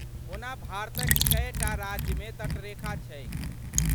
ओना भारतक कएटा राज्यमे तटरेखा छैक?